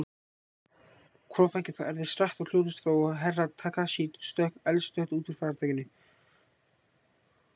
Hvolfþakið færðist hratt og hljóðlaust frá og Herra Takashi stökk eldsnöggt út úr faratækinu.